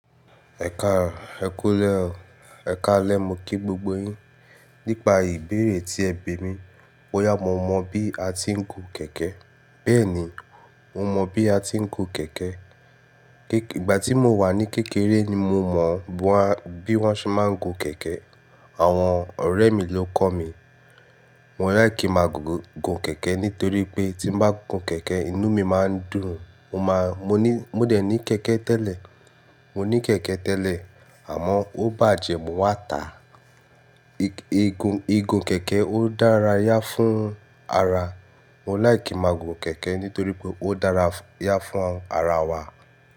Ẹ̀kà, ẹ kú lẹ́, ẹkàlẹ́ mo kí gbogbo yín. Nípa ìbéèrè tí ẹ bè mi, bóyá mo mọ bí a ti ń gun kèké. Bẹ́ẹ̀ni, mo mọ bí a ti ń gun kèké. Ìgbà tí mo wà ní kékeré ni mo mọ bí wọ́n ṣe máa ń gun kèké. Àwọn ọ̀rẹ́ mi ló kọ́ mi. Mo like ki máa gun kèké nítorí pé tí m bá gun kèké, inú mi máa ń dùn. Mo máa, mo ní, mo dẹ̀ ní kèké tẹ́lẹ̀. Mo ní kèké tẹ́lẹ̀, àmọ́ ó bàjẹ́, mo wà tà á. Ìgun, ìgun kèké ó dárà yá fún ara. Mo like ki máa gun kèké nítorí pé ó dárà yá fún ara wa.